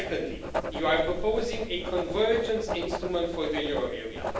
Secondly, you are proposing a convergence instrument for the euro area.